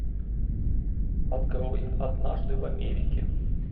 открой однажды в америке